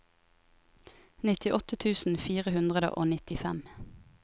nittiåtte tusen fire hundre og nittifem